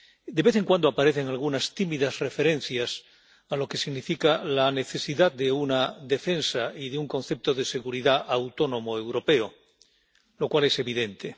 De vez en cuando aparecen algunas tímidas referencias a lo que significa la necesidad de una defensa y de un concepto de seguridad autónomo europeo, lo cual es evidente.